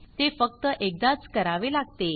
ते फक्त एकदाच करावे लागते